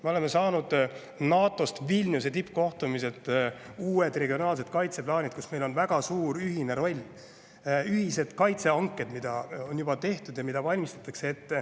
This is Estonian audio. Me oleme saanud Vilniuse tippkohtumiselt NATO uued regionaalsed kaitseplaanid, kus meil on väga suur ühine roll ning ühised kaitsehanked, mida valmistatakse ette ja mida on juba tehtud.